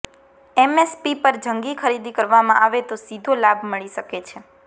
MSP પર જંગી ખરીદી કરવામાં આવે તો સીધો લાભ મળી શકે છે